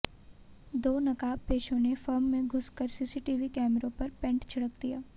दो नकाबपोशों ने फर्म में घुसकर सीसीटीवी कैमरों पर पेंट छिड़क दिया